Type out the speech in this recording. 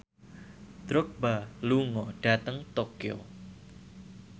Drogba lunga dhateng Tokyo